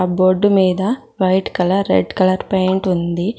Board మీద white colour red colour paint ఉంది.